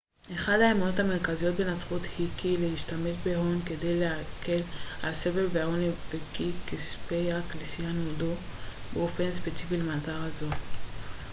אחת האמונות המרכזיות בנצרות היא כי יש להשתמש בהון כדי להקל על סבל ועוני וכי כספי הכנסיה נועדו באופן ספציפי למטרה זו